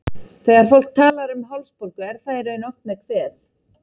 Þegar fólk talar um hálsbólgu er það í raun oft með kvef.